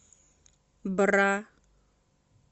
бра